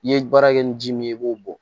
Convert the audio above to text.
I ye baara kɛ ni ji min ye i b'o bɔ